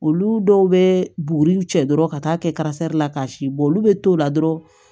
Olu dɔw bɛ buguri cɛ dɔrɔn ka taa kɛ la ka si bɔ olu bɛ to la dɔrɔn